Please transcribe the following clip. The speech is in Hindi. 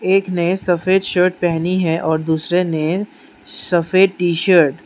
एक ने सफेद शर्ट पहनी है और दूसरे ने सफेद टी शर्ट --